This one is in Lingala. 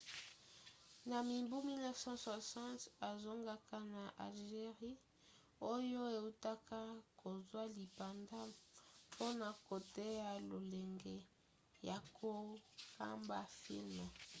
na mibu 1960 azongaka na algerie oyo eutaka kozwa lipanda mpona koteya lolenge ya kokamba filme